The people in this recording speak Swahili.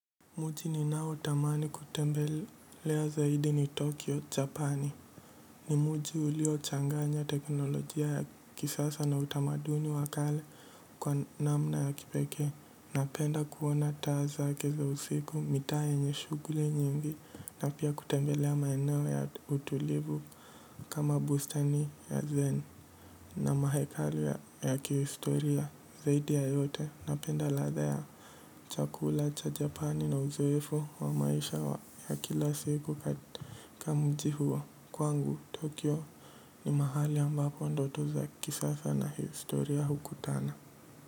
Mji ninaotamani kutembelea zaidi ni Tokyo, Japani. Ni mji ulio changanya teknolojia ya kisasa na utamaduni wa kale kwa namna ya kipekee. Napenda kuona taa zake za usiku mitaa yenye shughuli nyingi. Na pia kutembelea maeneo ya utulivu kama bustani ya Zen. Na mahekalu ya kihistoria zaidi ya yote napenda ladha ya chakula cha Japani na uzoefu wa maji maisha ya kila siku katika mji huo kwangu Tokyo ni mahali ambapo ndoto za kisasa na historia hukutana.